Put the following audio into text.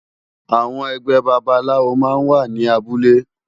Awòn ègbè bàbálàwó má n wá ni áwòn àbúlé